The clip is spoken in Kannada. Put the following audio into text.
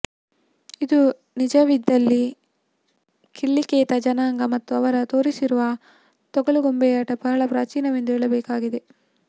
ಇದು ನಿಜವಿದ್ದಲ್ಲಿ ಕಿಳ್ಳಿಕೇತ ಜನಾಂಗ ಮತ್ತು ಅವರು ತೋರಿಸುವ ತೊಗಲುಗೊಂಬೆಯಾಟ ಬಹಳ ಪ್ರಾಚೀನವೆಂದು ಹೇಳಬೇಕಾಗುತ್ತದೆ